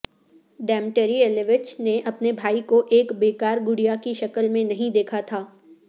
Dmitri Ilyich نے اپنے بھائی کو ایک بیکار گڑیا کی شکل میں نہیں دیکھا تھا